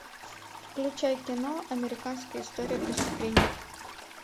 включай кино американская история преступлений